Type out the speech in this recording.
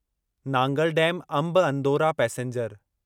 Nangal dam Amb Andaura passenger